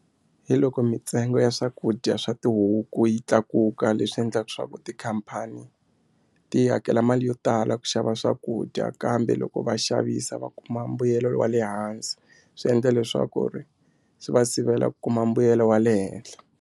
Hi loko mitsengo ya swakudya swa tihuku yi tlakuka leswi endlaka swa ku tikhampani ti hakela mali yo tala ku xava swakudya kambe loko va xavisa va kuma mbuyelo wa le hansi swi endla leswaku ri swi va sivela ku kuma mbuyelo wa le henhla.